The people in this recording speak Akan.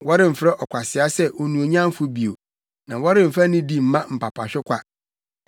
Wɔremfrɛ ɔkwasea sɛ onuonyamfo bio na wɔremfa nidi mma apapahwekwa.